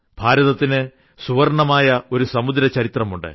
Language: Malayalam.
ഭാരതത്തിന് സുവർണ്ണമായ ഒരു സമുദ്രചരിത്രമുണ്ട്